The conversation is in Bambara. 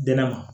Dɛnɛ ma